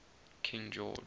king george